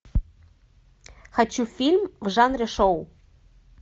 хочу фильм в жанре шоу